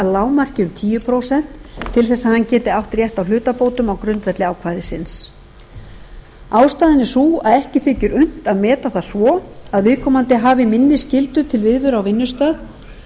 lágmarki um tíu prósent til þess að hann geti átt rétt á hlutabótum á grundvelli ákvæðisins ástæðan er sú að ekki þykir unnt að meta það svo að viðkomandi hafi minni skyldu til viðveru á vinnustað